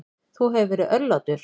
Þú hefur verið örlátur.